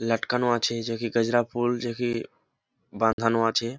লটকানো আছে যে কি গজরা ফুল যে কি বাঁধানো আছে।